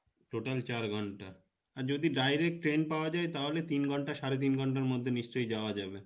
total চার ঘন্টা আর যদি direct train পাওয়া যাই তাহলে তিন ঘন্টা সাড়ে তিন ঘন্টার মধ্যে নিশ্চয় যাওয়া যাবে